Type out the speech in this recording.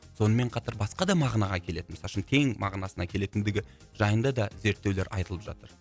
сонымен қатар басқа да мағынаға келетін мысалы үшін кең мағынасына келетіндігі жайында да зерттеулер айтылып жатыр